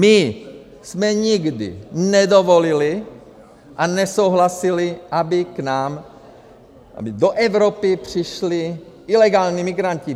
My jsme nikdy nedovolili a nesouhlasili, aby k nám, aby do Evropy přišli ilegální migranti.